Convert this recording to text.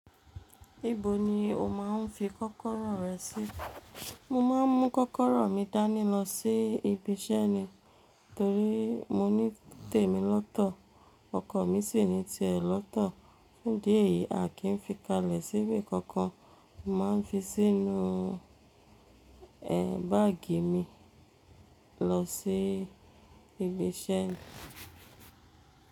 Ibo ni o máa n fi kọ́kọ́rọ́ rẹ sí? Mo ma n mu kọ́kọ́rọ́ mi dání lọ sí ibi iṣẹ́ ni. Torí mo ní tèmi lọ́tọ̀, ọkọ̀ mi sì ní tiè lọ́tọ̀. Ní dí eyìí, a kì í fi kalẹ̀ síbi kankan. Mo ma n fi sínú ẹ báàgì mi lọ sí ibi iṣẹ́ ni.